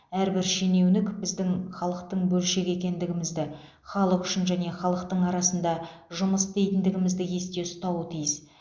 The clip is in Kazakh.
әрбір шенеунік біздің халықтың бөлшегі екендігімізді халық үшін және халықтың арасында жұмыс істейтіндігімізді есте ұстауы тиіс